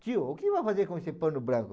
Tio, o que vai fazer com esse pano branco?